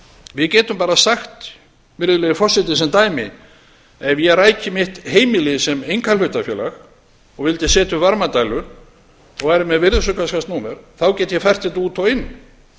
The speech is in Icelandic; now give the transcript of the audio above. við getum bara sagt virðulegi forseti sem dæmi ef ég ræki mitt heimili sem einkahlutafélag og vildi setja upp varmadælu og væri með virðisaukaskattsnúmer þá get ég fært þetta út og inn